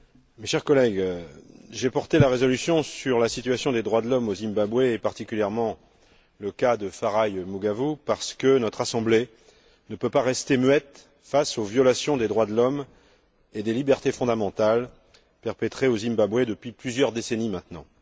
Mes chers collègues, j'ai soutenu la résolution sur la situation des droits de l'homme au Zimbabwe, et en particulier le cas de Farai Maguwu, parce que notre Assemblée ne peut pas rester muette face aux violations des droits de l'homme et des libertés fondamentales perpétrées au Zimbabwe depuis plusieurs décennies maintenant.